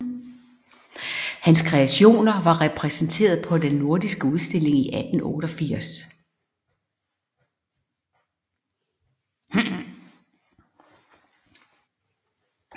Hans kreationer var repræsenteret på den nordiske udstilling i 1888